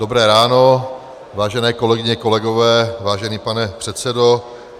Dobré ráno, vážené kolegyně, kolegové, vážený pane předsedo.